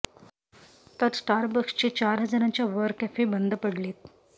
तर स्टारबक्सचे चार हजारांच्या वर कॅफे बंद पडलेत